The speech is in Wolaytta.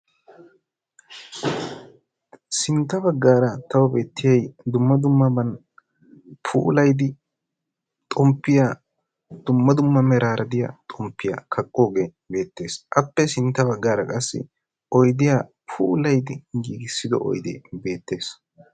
sintta baggaara tawu beettiyay dumma dummaban puulayidi xomppiyaa dumma dumma meraara de'iyaa xomppiyaa kaqqoogee beettees. appe sintta baggaara qassi oydiyaa puulayidi giigisido oydee beettees.